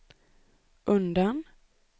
undan